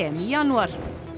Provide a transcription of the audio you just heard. í janúar